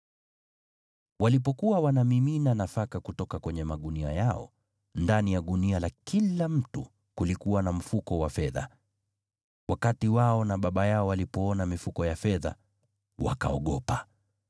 Walipokuwa wanamimina nafaka kutoka kwenye magunia yao, ndani ya gunia la kila mtu kulikuwa na mfuko wa fedha! Wakati wao na baba yao walipoona mifuko ya fedha, wakaogopa.